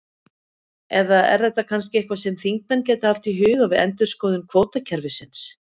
Eða er þetta kannski eitthvað sem þingmenn gætu haft í huga við endurskoðun kvótakerfisins?